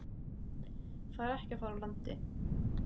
Fær ekki að fara úr landi